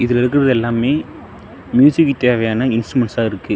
இதுல இருக்கறது எல்லாமே மியூசிக்கு தேவையான இன்ஸ்ட்ருமெண்ட்ஸ்ஸா இருக்கு.